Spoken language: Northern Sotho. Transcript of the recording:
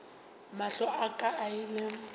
mahlo a ka a ile